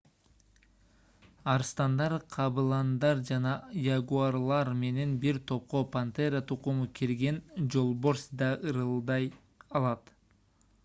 арстандар кабыландар жана ягуарлар менен бир топко пантера тукуму кирген жолборс да ырылдай алат